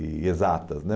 E exatas, né?